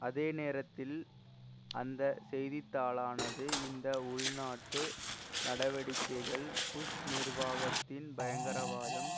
அதேநேரத்தில் அந்த செய்தித்தாளானது இந்த உள்நாட்டு நடவடிக்கைகள் புஷ் நிர்வாகத்தின் பயங்கரவாதம்